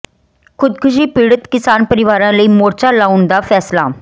ਖੁਦਕੁਸ਼ੀ ਪੀੜਤ ਕਿਸਾਨ ਪਰਿਵਾਰਾਂ ਲਈ ਮੋਰਚਾ ਲਾਉਣ ਦਾ ਫ਼ੈਸਲਾ